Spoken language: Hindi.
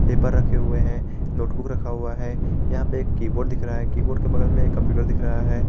पेपर रखे हुए हैं नोटबुक रखा हुआ है यहां पे एक कीबोर्ड दिख रहा है कीबोर्ड के बगल में कंप्यूटर दिख रहा है।